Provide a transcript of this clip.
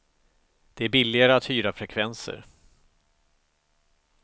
Det är billigare att hyra frekvenser.